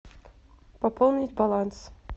пополнить баланс